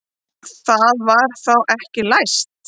Það var þá ekki læst!